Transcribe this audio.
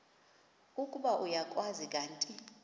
ukuba uyakwazi kanti